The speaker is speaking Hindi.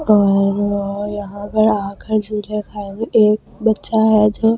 और और यहाँ पर आकर एक बच्चा है जो